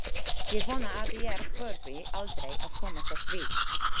Ég vona að ég þurfi aldrei að komast að því